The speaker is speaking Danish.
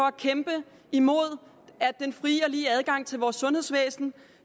at kæmpe imod at den frie og lige adgang til vores sundhedsvæsen